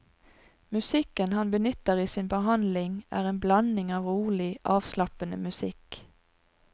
Musikken han benytter i sin behandling er en blanding av rolig, avslappende musikk.